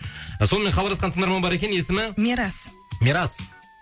сонымен хабарласқан тыңдарман бар екен есімі мирас мирас